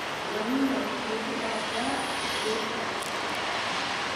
Vanilla waxay ku dhacdaa geedka.